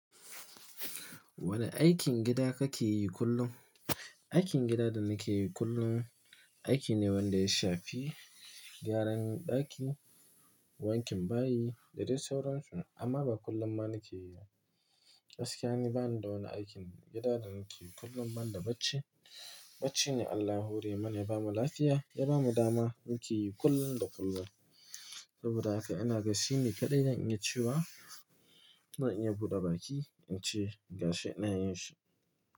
Wane aikin gida kake yi kullum? Aikin gida da nake yi kullum, aiki ne wanda ya shafi gyaran ɗaki, wankin bayi da dai sauransu. Amma ba kullum ba nake yi, gaskiya ne bani da wani aikin gida da nake yi kullum. Ban da bacci, bacci ne Allah hure mana ya bamu lafiya ya bamu dama muke yi kullum da kullum. Saboda haka ina gan shi ne kaɗai zan iya cewa, zan iya buɗe baki in ce ga shi ina yin shi.